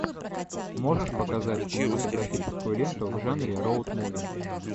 можешь показать кинематографическую ленту в жанре роуд муви